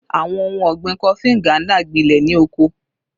Awọn ohun ọgbin Kofi Nganda gbilẹ ni oko